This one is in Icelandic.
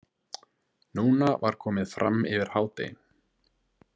Núna var komið fram yfir hádegi.